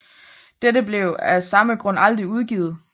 Dette blev af samme grund aldrig udgivet